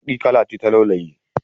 Baƙi kala ce ta lauyoyi.